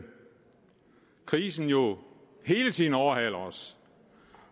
krisen hele tiden overhaler os